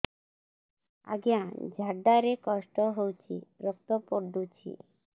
ଅଜ୍ଞା ଝାଡା ରେ କଷ୍ଟ ହଉଚି ରକ୍ତ ପଡୁଛି